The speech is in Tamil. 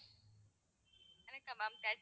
எனக்கா ma'am thirty